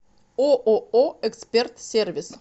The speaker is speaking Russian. ооо эксперт сервис